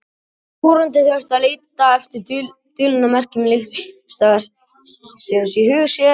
Áhorfandinn þurfti að leita eftir dulinni merkingu listaverksins í huga sér.